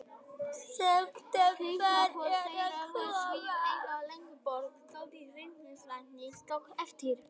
Lífsviðhorf þeirra voru svipuð, eins og Ingeborg, dóttir ræðismannsins, tók eftir.